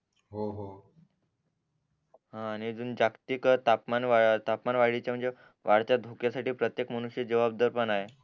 हा आणि अजून जागतिक तापमान तापमान वाढीच्या म्हणजे वाढत्या धोक्या साठी प्रत्येक मनुष्य जबाबदार पण आहे